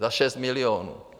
Za 6 milionů.